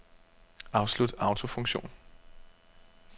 Afslut autofunktion.